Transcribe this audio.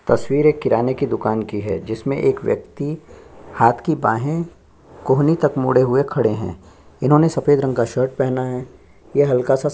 तस्वीर एक किराने की दुकान की है जिसमे एक व्यक्ति हाथ की बाहे कोहनी तक मोड़े हुए खड़े है इन्होंने सफ़ेद रंग का शर्ट पहना है ये हल्का सा --